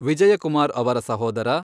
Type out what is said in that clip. ವಿಜಯಕುಮಾರ್ ಅವರ ಸಹೋದರ